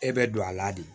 E bɛ don a la de